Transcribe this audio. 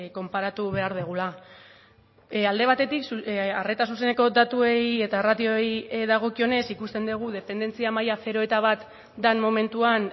konparatu behar dugula alde batetik arreta zuzeneko datuei eta ratioei dagokionez ikusten dugu dependentzia maila zero eta bat den momentuan